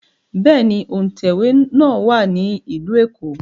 Bẹ́ẹ̀ ni, òǹtẹ̀wé náà wà ní Ìlú Èkó